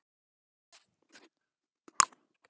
Ruglið í honum að láta þetta ganga yfir sig.